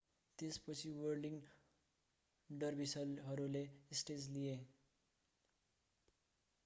त्यसपछि व्हर्लिङ डर्भिसहरूले स्टेज लिए